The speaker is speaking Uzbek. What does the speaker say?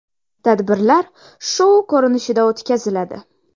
Tadbirlar shou ko‘rinishida o‘tkaziladi.